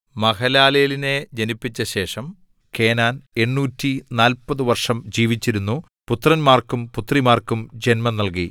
മഹലലേലിനെ ജനിപ്പിച്ച ശേഷം കേനാൻ 840 വർഷം ജീവിച്ചിരുന്നു പുത്രന്മാർക്കും പുത്രിമാർക്കും ജന്മം നൽകി